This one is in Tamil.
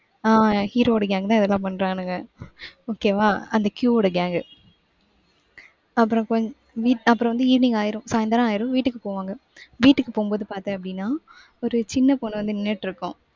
ஆஹ் hero வோட gang தான் இதெல்லாம் பன்றானுங்க. okay வா அந்த Q வோட gang. அப்புறம் கொஞ்~ அப்புறம் வந்து, evening ஆயிரும் சாயந்திரம் ஆயிரும். வீட்டுக்கு போவாங்க. வீட்டுக்கு போகும்போது பார்த்தேன் அப்படின்னா ஒரு சின்ன பொண்ணு வந்து நின்னுட்டு இருக்கும்.